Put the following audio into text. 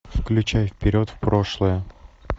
включай вперед в прошлое